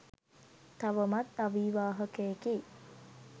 තවමත් අවිවාහකයෙකි.